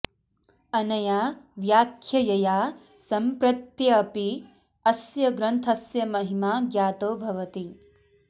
अनया व्याख्यया सम्प्रत्यपि अस्य ग्रन्थस्य महिमा ज्ञातो भवति